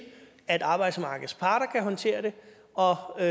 at arbejdsmarkedets parter kan håndtere det og og